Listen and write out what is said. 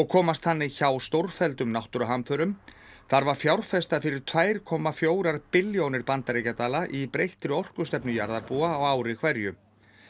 komast þannig hjá stórfelldum náttúruhamförum þarf að fjárfesta fyrir tvö komma fjögur billjónir bandaríkjadala í breyttri orkustefnu jarðarbúa á ári hverju